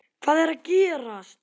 HVAÐ ER AÐ GERAST?